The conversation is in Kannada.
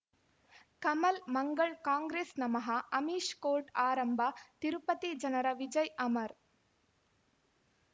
ಕಮಲ್ ಮಂಗಳ್ ಕಾಂಗ್ರೆಸ್ ನಮಃ ಅಮಿಷ್ ಕೋರ್ಟ್ ಆರಂಭ ತಿರುಪತಿ ಜನರ ವಿಜಯ್ ಅಮರ್